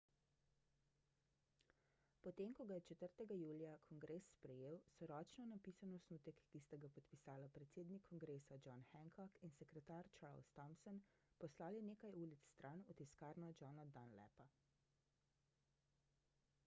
potem ko ga je 4 julija kongres sprejel so ročno napisan osnutek ki sta ga podpisala predsednik kongresa john hancock in sekretar charles thomson poslali nekaj ulic stran v tiskarno johna dunlapa